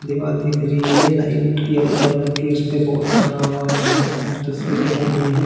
दीवाल दिख रही है लाइट यलो कलर की इस पे बोर्ड टंगा हुआ दिख रहा है इसपे कुछ तस्वीरें टंगी है।